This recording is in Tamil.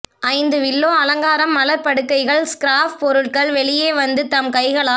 ஐந்து வில்லோ அலங்காரம் மலர் படுக்கைகள் ஸ்கிராப் பொருட்கள் வெளியே வந்து தம் கைகளால்